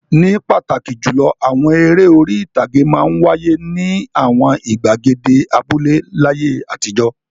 Ní pàtàkì jùlọ, àwọn eré orí-ìtàgé máa ń wáyé ní àwọn ìgbàgede abúlé láyé àtijọ́.